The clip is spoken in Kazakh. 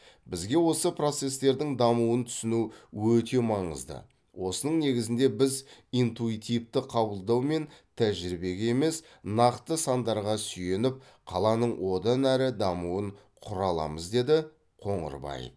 бізге осы процестердің дамуын түсіну өте маңызды осының негізінде біз интуитивті қабылдау мен тәжірибеге емес нақты сандарға сүйеніп қаланың одан әрі дамуын құра аламыз деді қоңырбаев